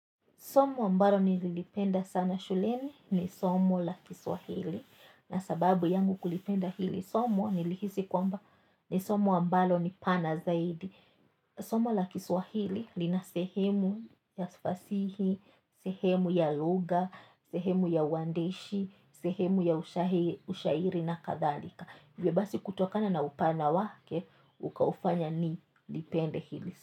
Somo ambalo nililipenda sana shuleni ni somo la Kiswahili. Na sababu yangu ya kulipenda hili somo, nilihisi kwamba ni somo ambalo ni pana zaidi. Somo la Kiswahili lina sehemu ya fasihi, sehemu ya lugha, sehemu ya uandishi, sehemu ya ushairi na kadhalika. Hivyo basi, kutokana na upana wake, ukaufanya nilipende hili.